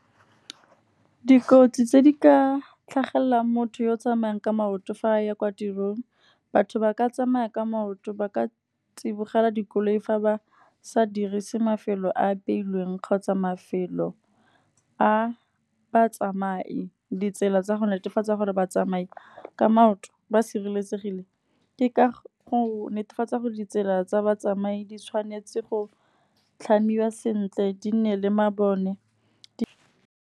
Dikotsi tse di ka tlhagelelang motho yo o tsamayang ka maoto fa a ya kwa tirong, batho ba ka tsamaya ka maoto. Ba ka tsibogela dikoloi fa ba sa dirise mafelo a apeilweng kgotsa mafelo a batsamai. Ditsela tsa go netefatsa gore ba tsamai ka maoto ba sireletsegile ke ka go netefatsa gore, ditsela tsa batsamai di tshwanetse go tlhamiwa sentle di nne le mabone.